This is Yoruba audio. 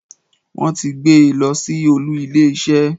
Wọ́n ti gbé e losí olú ilé isé